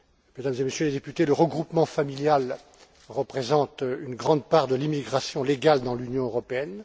Mesdames et Messieurs les députés, le regroupement familial représente une grande part de l'immigration légale dans l'Union européenne.